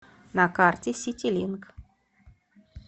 на карте ситилинк